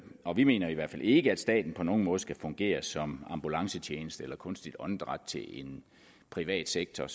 og vi mener i hvert fald ikke at staten på nogen måde skal fungere som ambulancetjeneste eller give kunstigt åndedræt til en privat sektor